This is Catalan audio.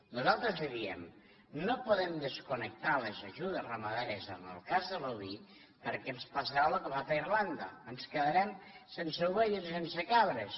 nosaltres li di em no podem desconnectar les ajudes ramaderes en el cas de l’oví perquè ens passarà lo que ha passat a irlanda ens quedarem sense ovelles i sense cabres